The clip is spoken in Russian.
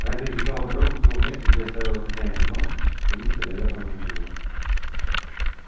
она перебежала дорогу к тому месту где оставила хозяина но увы столяра уже там не было